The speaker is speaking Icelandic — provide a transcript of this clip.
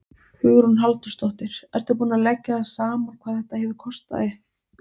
Hugrún Halldórsdóttir: Ertu búinn að leggja það saman hvað þetta hefur kostað þig?